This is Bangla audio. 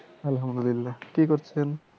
আল্লাহামদুল্লিয়া কি করছেন?